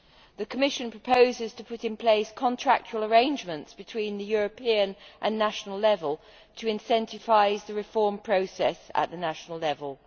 The Commission proposes to put in place contractual arrangements between the European and national level to incentivise the reform process at national level.